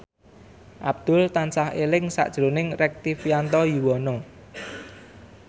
Abdul tansah eling sakjroning Rektivianto Yoewono